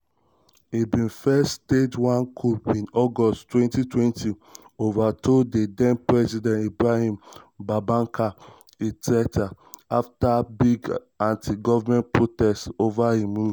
e bin first stage one coup in august 2020 overthrow di den-president ibrahim boubacar keïta afta one big anti-govment protests over im rule